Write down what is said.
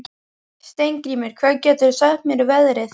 Steingrímur, hvað geturðu sagt mér um veðrið?